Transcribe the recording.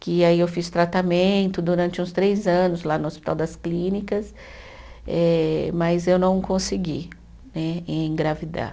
Que aí eu fiz tratamento durante uns três anos lá no Hospital das Clínicas, eh mas eu não consegui né, engravidar.